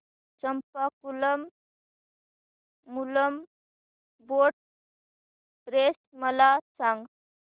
Champakulam Moolam boat race मला सांग